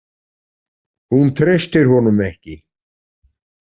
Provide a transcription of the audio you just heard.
Hún treystir honum ekki.